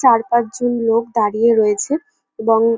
চার পাঁচ জন লোক দাঁড়িয়ে রয়েছে এবং --